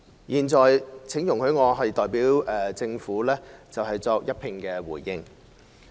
現在，請容許我代表政府作一併回應。